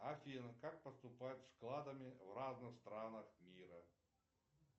афина как поступают с вкладами в разных странах мира